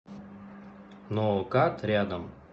ноокат рядом